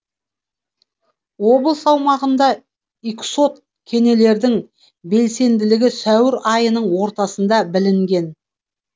облыс аумағында иксод кенелердің белсенділігі сәуір айының ортасында білінген